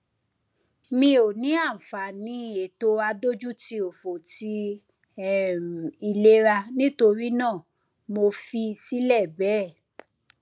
mi ò ní àǹfààní ètò adójútiòfò ti um ìlera nítorí náà mo fi í sílẹ bẹẹ